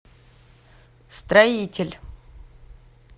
строитель